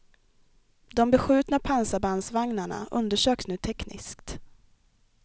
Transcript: De beskjutna pansarbandvagnarna undersöks nu tekniskt.